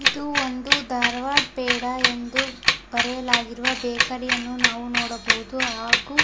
ಇದು ಒಂದು ಧಾರವಾಡ ಪೇಡ ಎಂದು ಬರೆಯಲಾಗಿರುವ ಬೇಕರಿ ಯನ್ನು ನಾವು ನೋಡಬಹುದು ಹಾಗೂ --